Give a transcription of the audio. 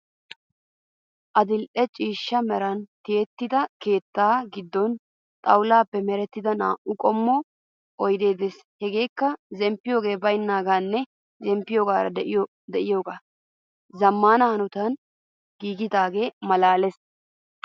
Adil'e ciishsha meray tiyettido keetta giddon xawulaappe merettida naa"u qommo oyidee de'es. Hegeekka zemppiyogee bayinaagaanne zemppiyoogee de'iyogee zammaana hanotan giigidagee malaales.